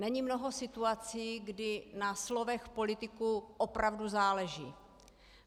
Není mnoho situací, kdy na slovech politiků opravdu záleží.